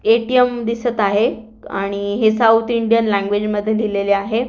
ATM. दिसत आहे आणि हे साऊथ इंडियन लँगवेज मध्ये दिलेले आहेत.